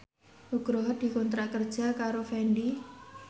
Nugroho dikontrak kerja karo Fendi